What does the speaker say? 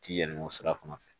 Ti yɛlɛmɔ sira fana fɛ